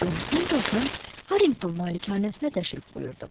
Con Pendleton Harrington malikanəsinə təşrif buyurdu.